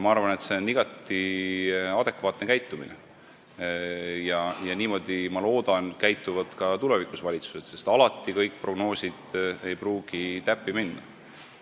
Ma arvan, et see on igati adekvaatne käitumine, ja ma loodan, et niimoodi käituvad valitsused ka tulevikus, sest alati ei pruugi kõik prognoosid täppi minna.